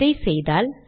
இதை செய்தால்